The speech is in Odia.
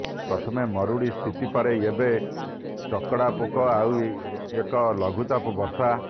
ପ୍ରଥମେ ମରୁଡ଼ି ସ୍ଥିତି ପରେ ଚକଡ଼ା ପୋକ ଆଉ ଏବେ ଲଘୁଚାପ ବର୍ଷା